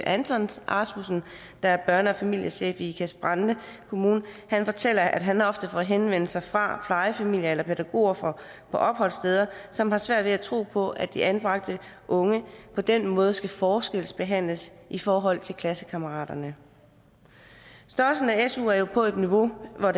anton rasmussen der er børne og familiechef i ikast brande kommune han fortæller at han ofte får henvendelser fra plejefamilier eller pædagoger på opholdssteder som har svært ved at tro på at de anbragte unge på den måde skal forskelsbehandles i forhold til klassekammeraterne størrelsen af suen er jo på et niveau hvor